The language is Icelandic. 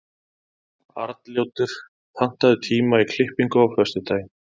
Arnljótur, pantaðu tíma í klippingu á föstudaginn.